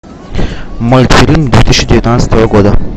мультфильм две тысячи девятнадцатого года